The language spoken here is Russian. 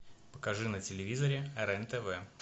покажи на телевизоре рен тв